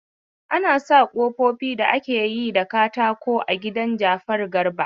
An sa kofofi da ake yi da katako a gida Jafaru Garba.